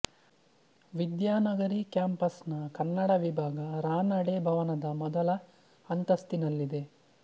ವಿದ್ಯಾನಗರಿ campus ನ ಕನ್ನಡ ವಿಭಾಗ ರಾನಡೆ ಭವನದ ಮೊದಲ ಅಂತಸ್ತಿನಲ್ಲಿದೆ